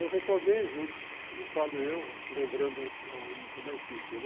Eu retornei junto, não falo eu, lembrando uma equipe, né?